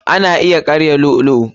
Ana iya karya lu'u lu'u.